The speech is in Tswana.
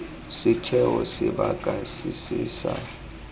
setheo sebaka se se sa